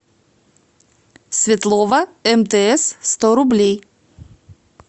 светлова мтс сто рублей